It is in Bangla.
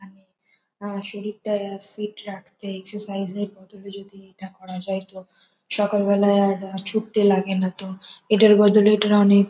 আমি আ শরীরটা ফিট রাখতে এক্সারসাইসের বদলে এটা করা যায় তো সকালবেলায় আর ছুটতে লাগে না তো । এটার বদলে এটার অনেক--